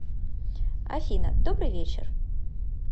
афина добрый вечер